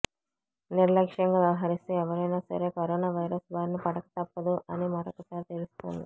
నిర్లక్షం గా వ్యవహరిస్తే ఎవరైనా సరే కరోనా వైరస్ భారిన పడక తప్పదు అని మరొకసారి తెలుస్తోంది